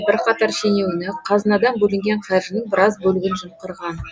бірқатар шенеунік қазынадан бөлінген қаржының біраз бөлігін жымқырған